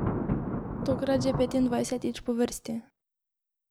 Tokrat že petindvajsetič po vrsti!